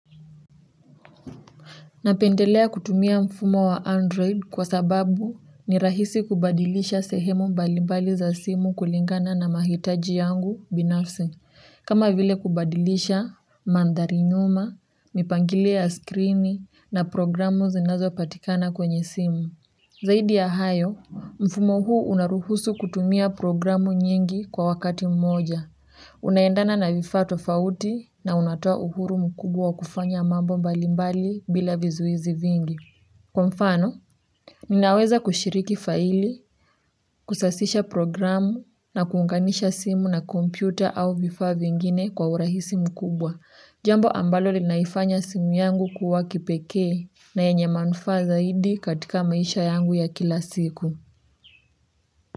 Napendelea kutumia mfumo wa Android kwa sababu ni rahisi kubadilisha sehemu mbali mbali za simu kulingana na mahitaji yangu binafsi. Kama vile kubadilisha mandhari nyuma, mipangilio ya skrini na programu zinazo patikana kwenye simu. Zaidi ya hayo, mfumo huu unaruhusu kutumia programu nyingi kwa wakati mmoja. Unaendana na vifaa tofauti na unatoa uhuru mkubwa wa kufanya mambo mbali mbali bila vizuizi vingi. Kwa mfano, ninaweza kushiriki faili, kusasisha programu na kuunganisha simu na kompyuta au vifaa vingine kwa urahisi mkubwa. Jambo ambalo linaifanya simu yangu kuwa kipeke na yenye manufaa zaidi katika maisha yangu ya kila siku.